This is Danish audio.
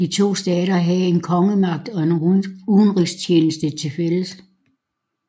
De to stater havde kun kongemagten og udenrigstjenesten tilfælles